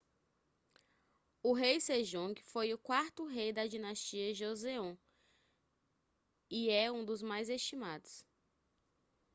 o rei sejongue foi o quarto rei da dinastia joseon e é um dos mais estimados